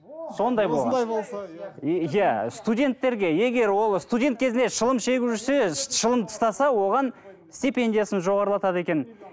иә студенттерге егер ол студент кезінде шылым шегіп жүрсе шылым тастаса оған степендиясын жоғарылатады екен